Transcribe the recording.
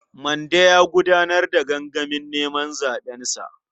Mande ya gudanar da gangamin neman zaɓensa.